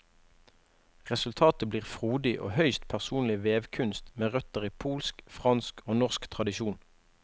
Resultatet blir frodig og høyst personlig vevkunst med røtter i polsk, fransk og norsk tradisjon.